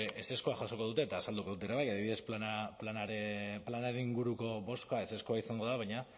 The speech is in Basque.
ezezkoa jasoko dute eta azalduko dut ere bai adibidez planaren inguruko bozka ezezkoa izango da baina